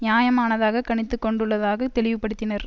நியாயமானதாக கணித்து கொண்டுள்ளதாக தெளிவுபடுத்தினர்